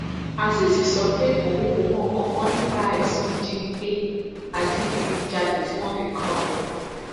azeez sọ pé òun kò mọ nǹkan kan nípa ẹsùn ìjínigbé àti ìdígunjalè tí wọn fi kan òun